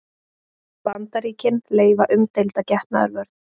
Bandaríkin leyfa umdeilda getnaðarvörn